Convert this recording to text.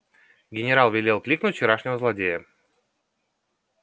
генерал велел кликнуть вчерашнего злодея